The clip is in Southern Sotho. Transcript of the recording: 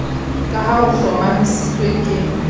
ka ha ho hlomamisitswe ke